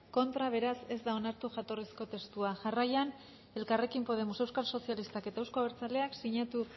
contra beraz ez da onartu jatorrizko testua jarraian elkarrekin podemos euskal sozialistak eta euzko abertzaleak sinatu